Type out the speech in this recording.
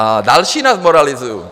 A další nás moralizují.